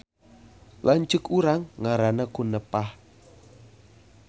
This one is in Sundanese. Lanceuk urang ngaranna Kunepah